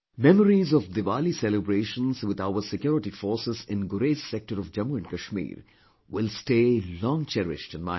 Memories of Diwali celebrations with our security forces in Gurez sector of Jammu & Kashmir will stay long cherished in my heart